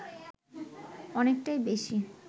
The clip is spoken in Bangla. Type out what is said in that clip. অনেকটাই বেশি